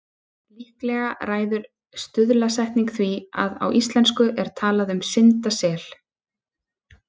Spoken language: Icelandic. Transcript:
Líklega ræður stuðlasetning því að á íslensku er talað um syndasel.